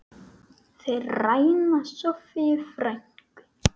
Þeir ræna Soffíu frænku.